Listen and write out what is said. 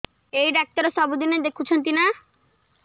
ଏଇ ଡ଼ାକ୍ତର ସବୁଦିନେ ଦେଖୁଛନ୍ତି ନା